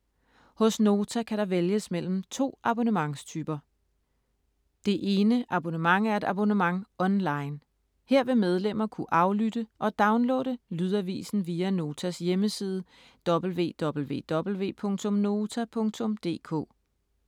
Hos Nota kan der vælges mellem to abonnementstyper. Det ene abonnent er et abonnement online. Her vil medlemmer kunne aflytte og downloade lydavisen via Notas hjemmeside www.nota.dk.